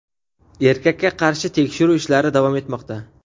Erkakka qarshi tekshiruv ishlari davom etmoqda.